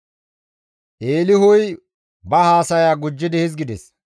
Eelihuy ba haasaya gujjidi hizgides;